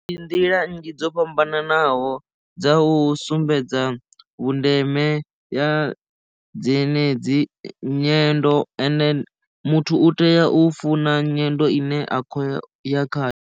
Ndi nḓila nnzhi dzo fhambananaho dza u sumbedza vhundeme ya dzenedzi nyendo ene muthu u tea u funa nyendo ine a khou ya kha.